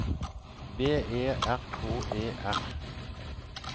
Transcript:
V E R K E R